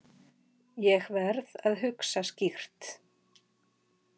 Ég verð að hugsa skýrt.